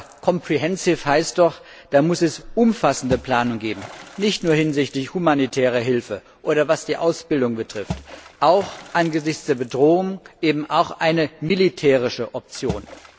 Ja, comprehensive heißt doch, da muss es eine umfassende Planung geben, nicht nur hinsichtlich humanitärer Hilfe, oder was die Ausbildung betrifft, angesichts der Bedrohung eben auch eine militärische Option.